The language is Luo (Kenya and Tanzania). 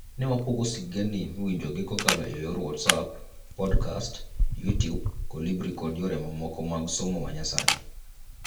Newapogo sigendni miwinjogi kokalo eyor WhatsApp, podcast, YouTube, Kolibri kod yore mamoko mag somo manyasani.